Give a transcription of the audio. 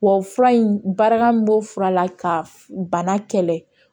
Wa fura in bara min bɔ fura la ka bana kɛlɛ